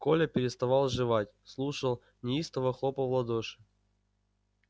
коля переставал жевать слушал неистово хлопал в ладоши